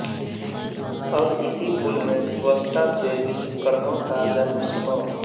अब इसी कुल में त्वष्टा से विश्वकर्मा का जन्म सुनों